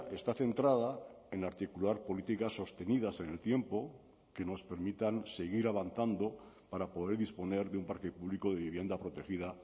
está centrada en articular políticas sostenidas en el tiempo que nos permitan seguir avanzando para poder disponer de un parque público de vivienda protegida